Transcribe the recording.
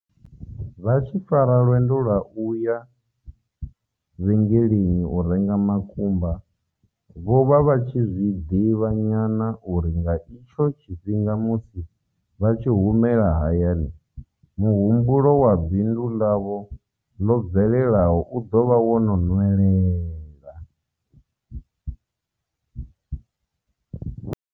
Vha tshi fara lwendo lwa u ya vhenge leni u renga makumba, vho vha vha tshi zwi ḓivha nyana uri nga itsho tshifhinga musi vha tshi humela hayani muhumbulo wa bindu ḽavho ḽo bvelelaho u ḓo vha wo no nwelela.